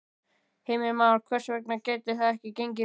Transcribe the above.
Heimir Már: Hvers vegna gæti það ekki gengið núna?